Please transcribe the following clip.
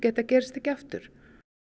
þetta gerist ekki aftur